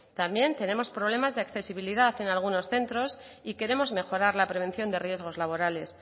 también tenemos problemas de accesibilidad en algunos centros y queremos mejorar la prevención de riesgos laborales